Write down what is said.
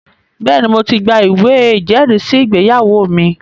Bẹ́ẹ̀ni, mo ti gba ìwé ìjẹ́rìísí ìgbéyàwó mi